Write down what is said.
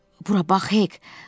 Bura bax, Hek.